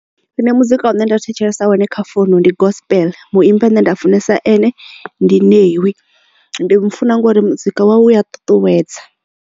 Nṋe muzika une nda thetshelesa wone kha founu ndi gospel muimbi ane nda funesa ane ndi Ṋewi ndi mufuna ngori muzika wawe u wa ṱuṱuwedza.